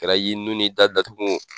kɛra y'i nu n'i da datugu o